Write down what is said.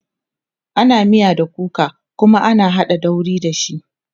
ana miya da kuka Kuma ana haɗa dauri da shi